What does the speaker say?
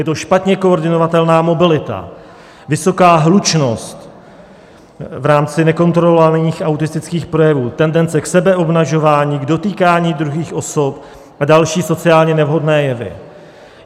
Je to špatně koordinovatelná mobilita, vysoká hlučnost v rámci nekontrolovatelných autistických projevů, tendence k sebeobnažování, k dotýkání druhých osob a další sociálně nevhodné jevy.